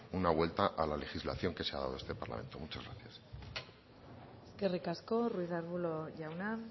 una vuelta a la legislación que se ha dado en este parlamento muchas gracias eskerrik asko ruiz de arbulo jauna